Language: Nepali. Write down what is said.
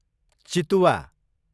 चितुवा